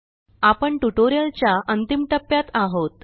आपण ट्युटोरियलच्या अंतिम टप्प्यात आहोत